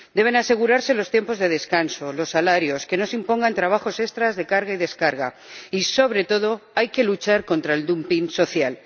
Deben asegurarse los tiempos de descanso, los salarios, que no se impongan trabajos extra de carga y descarga y, sobre todo, hay que luchar contra el dumping social.